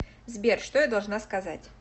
сбер что я должна сказать